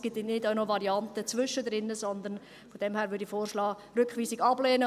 Es gibt auch keine Varianten dazwischen, sondern … Von daher würde ich vorschlagen, die Rückweisung abzulehnen.